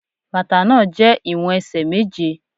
Bàtà náà jẹ́ ìwọ̀n ẹsẹ̀ méje.